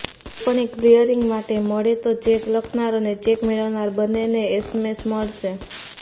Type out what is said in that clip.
કોઇપણ cheque clearing માટે મળે તો ચેક લખનાર અને ચેક મેળવનાર બંનેને એસએમએસ મળશે